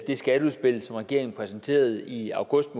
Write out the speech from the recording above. skatteudspil som regeringen præsenterede i august